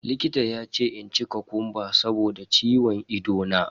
Likita ya ce in ci kokumba saboda ciwon ido na.